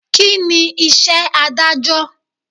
Kíni iṣẹ́ Ádájọ́?